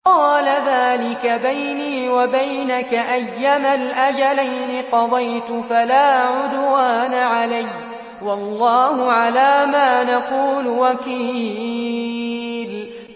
قَالَ ذَٰلِكَ بَيْنِي وَبَيْنَكَ ۖ أَيَّمَا الْأَجَلَيْنِ قَضَيْتُ فَلَا عُدْوَانَ عَلَيَّ ۖ وَاللَّهُ عَلَىٰ مَا نَقُولُ وَكِيلٌ